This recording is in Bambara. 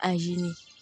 A ɲini